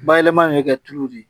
Bayɛlɛmali bɛ kɛ tulu de ye